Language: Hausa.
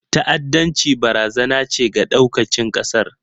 ta'addanci barazana ce ga ɗaukacin ƙasar